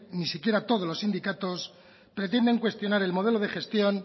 ni siquiera todos los sindicatos pretenden cuestionar el modelo de gestión